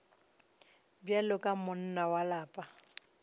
bjalo ka monna wa lapa